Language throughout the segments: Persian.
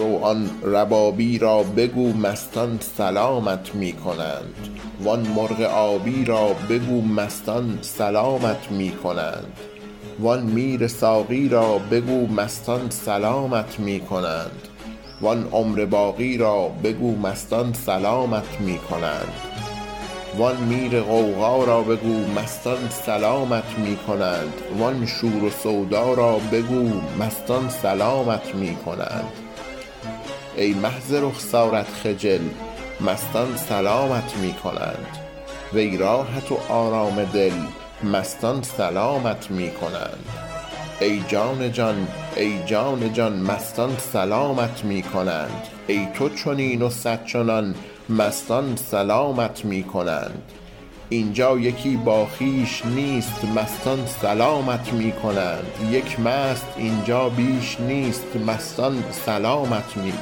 رو آن ربابی را بگو مستان سلامت می کنند وان مرغ آبی را بگو مستان سلامت می کنند وان میر ساقی را بگو مستان سلامت می کنند وان عمر باقی را بگو مستان سلامت می کنند وان میر غوغا را بگو مستان سلامت می کنند وان شور و سودا را بگو مستان سلامت می کنند ای مه ز رخسارت خجل مستان سلامت می کنند وی راحت و آرام دل مستان سلامت می کنند ای جان جان ای جان جان مستان سلامت می کنند ای تو چنین و صد چنان مستان سلامت می کنند این جا یکی با خویش نیست مستان سلامت می کنند یک مست این جا بیش نیست مستان سلامت می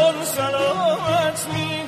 کنند ای آرزوی آرزو مستان سلامت می کنند آن پرده را بردار زو مستان سلامت می کنند